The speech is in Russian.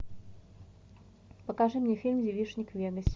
покажи мне фильм девичник в вегасе